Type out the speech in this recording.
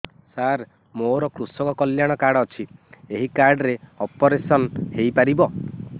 ସାର ମୋର କୃଷକ କଲ୍ୟାଣ କାର୍ଡ ଅଛି ଏହି କାର୍ଡ ରେ ଅପେରସନ ହେଇପାରିବ